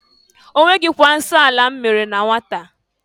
Onweghịkwa nsọ anị m mere na nwata.